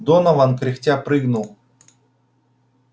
донован кряхтя прыгнул